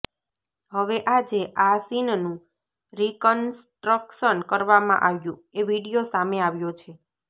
હવે આજે આ સીનનું રિકન્સ્ટ્રક્શન કરવામાં આવ્યું એ વીડિયો સામે આવ્યો છે